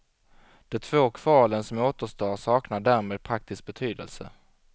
De två kvalen som återstår saknar därmed praktisk betydelse.